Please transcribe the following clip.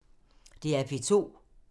DR P2